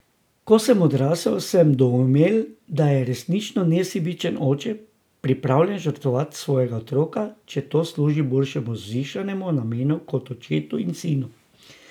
Ko sem odrasel, sem doumel, da je resnično nesebičen oče pripravljen žrtvovati svojega otroka, če to služi bolj vzvišenemu namenu kot očetu in sinu.